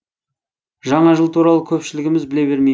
жаңа жыл туралы көпшілігіміз біле бермейміз